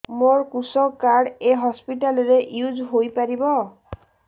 ମୋର କୃଷକ କାର୍ଡ ଏ ହସପିଟାଲ ରେ ୟୁଜ଼ ହୋଇପାରିବ